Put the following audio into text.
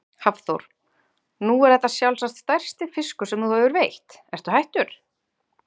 Hafþór: Nú er þetta sjálfsagt stærsti fiskur sem þú hefur veitt, ertu hættur?